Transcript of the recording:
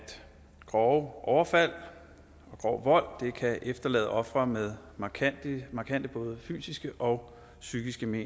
grove overfald grov vold kan efterlade ofre med markante markante både fysiske og psykiske men